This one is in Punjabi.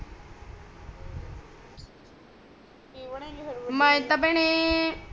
ਮੈਂ ਤਾ ਭੈਣੇ